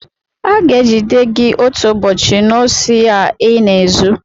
Aga-egide gị otu ụbọchị n'osi a ịna-ezu!